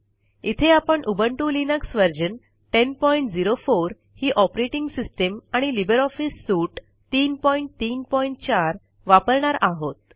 इथे आपण Ubuntu Linux version 1004 ही ऑपरेटिंग सिस्टीम आणि लिब्रे ऑफिस सूट 334 वापरणार आहोत